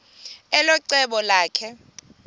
elo cebo lakhe